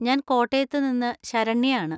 ഞാൻ കോട്ടയത്തുനിന്ന് ശരണ്യയാണ്.